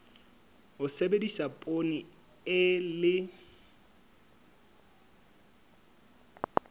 ho sebedisa poone e le